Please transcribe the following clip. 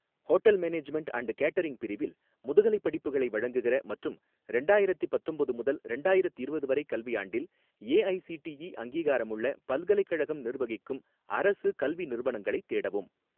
Hotel management and catering பிரிவில் முதுகலைப் படிப்புகளை வழங்குகிற மற்றும் ரெண்டாயிரத்தி பத்தொம்போது முதல் ரெண்டாயிரத்திரவது வரை கல்வியாண்டில் ஏஐசிடிஇ அங்கீகாரமுள்ள பல்கலைக்கழகம் நிர்வகிக்கும் அரசு கல்வி நிறுவனங்களைத் தேடவும்.